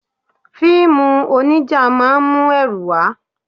Fíìmù onija máa ń mú ẹrù wá.